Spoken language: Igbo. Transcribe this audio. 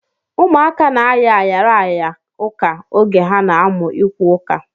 Ụmụaka na-aya ayara aya ụka oge ha na-amụ ikwu ụka